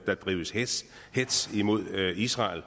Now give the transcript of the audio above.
der drives hetz imod israel